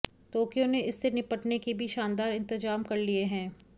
Tokyo ने इससे निपटने के भी शानदार इंतजाम कर लिए हैं